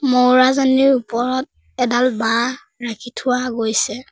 ম'ৰাজনীৰ ওপৰত এডাল বাঁহ ৰাখি থোৱা গৈছে।